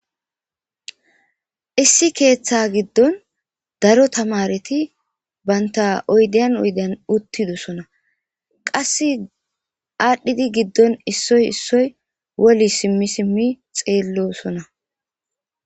Issi ketha gidon daro tamareti banta oydiyan oydiyan oydiyan utidonsona . Qas adhid gidon issoy issoy woli simi sim xelosona.